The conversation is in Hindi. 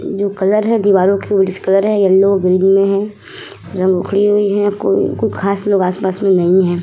जो कलर है दीवारो के वही डिसकलर है। येलो व ग्रीन में है। रंग उखड़ी हुई है। कु कु खास लोग आस पास में नहीं हैं।